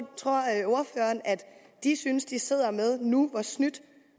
de synes de sidder med nu hvor snydt